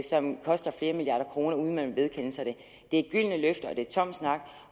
som koster flere milliarder kroner uden at man vil vedkende sig det det er gyldne løfter og det er tom snak og